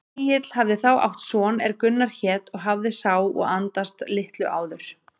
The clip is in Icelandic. Egill hafði þá átt son er Gunnar hét og hafði sá og andast litlu áður.